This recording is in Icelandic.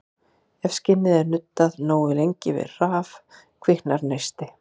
Ef skinni er nuddað nógu lengi við raf kviknar neisti.